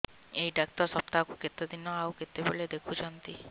ଏଇ ଡ଼ାକ୍ତର ସପ୍ତାହକୁ କେତେଦିନ ଆଉ କେତେବେଳେ ଦେଖୁଛନ୍ତି